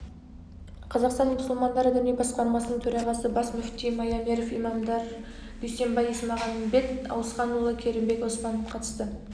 қазақстан мұсылмандары діни басқармасының төрағасы бас мүфти маямеров имамдар дүйсенбай есмағанбет ауысханұлы керімбек оспан қатысты